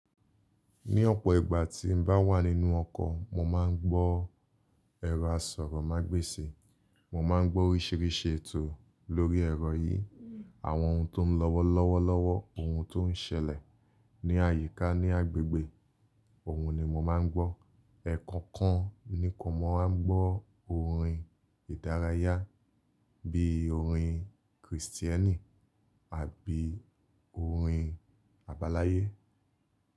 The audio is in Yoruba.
Ní ọ̀pọ̀ ìgbà tí n bá wà nínú ọkọ̀, mo máa ń gbọ́ ẹ̀rọ asọ̀rọ̀mágbèsì. Mo máa ń gbọ́ oríṣiríṣi ètò lórí ẹ̀rọ yìí. Àwọn ohun tó ń lọ́wọ́ lọ́wọ́lọ́wọ́, ohun tó ń ṣẹlẹ̀ ní àyíká ní agbègbè, òun ni mo máa ń gbọ́. Ẹ̀ẹ̀kan kan ni kò maa ń gbọ́ orin ìdárayá bí orin Krìstíẹ́nì àbí orin àbáláyé.